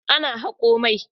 Ana hako mai.